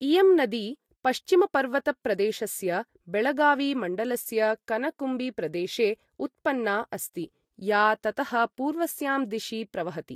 इयं नदी पश्चिमपर्वतप्रदेशस्य बेळगावी मण्डलस्य कनकुम्बी प्रदेशे उत्पन्ना अस्ति, या ततः पूर्वस्यां दिशि प्रवहति।